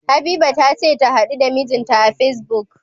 Habiba tace tahadu da mijinta a Facebook.